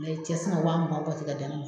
cɛ sina ka wa mugan bɔ ten ka da ne ma.